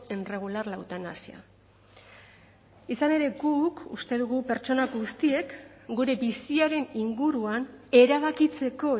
en regular la eutanasia izan ere guk uste dugu pertsona guztiek gure biziaren inguruan erabakitzeko